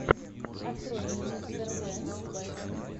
открой мне мистер генс бэст